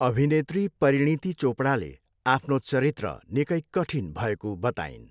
अभिनेत्री परिणिती चोपडाले आफ्नो चरित्र निकै कठिन भएको बताइन्।